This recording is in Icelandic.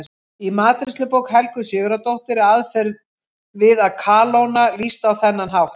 Í matreiðslubók Helgu Sigurðardóttur er aðferð við að kalóna lýst á þennan hátt: